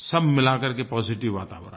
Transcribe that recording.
सब मिला करके पॉजिटिव वातावरण